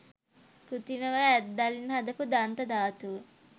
කෘතිමව ඇත්දලින් හදපු දන්ත ධාතුව.